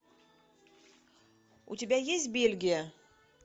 у тебя есть бельгия